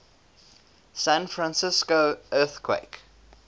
san francisco earthquake